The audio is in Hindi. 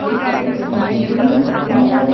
किसी जिम का हैं।